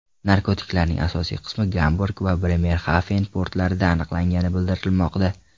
Narkotiklarning asosiy qismi Gamburg va Bremerxafen portlarida aniqlangani bildirilmoqda.